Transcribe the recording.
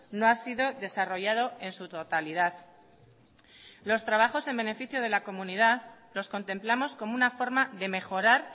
no ha sido desarrollado en su totalidad los trabajos en beneficio de la comunidad los contemplamos como una forma de mejorar